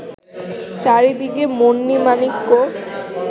চারিদিকে মণি-মাণিক্য